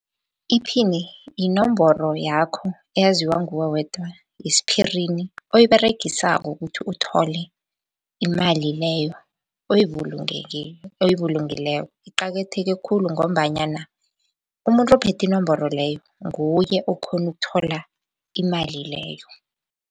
Iphini, yinomboro yakho eyaziwa nguwe wedwa yesiphirini oyiberegisako ukuthi uthole imali leyo oyibulungileko iqakatheke khulu, ngombanyana umuntu ophethe inomboro leyo nguye okhona ukuthola imali leyo.